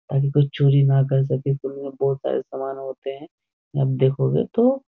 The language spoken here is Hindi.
अन चोरी न कर सके तो बहुत सारे सामान होते हैं आप देखोगे तो --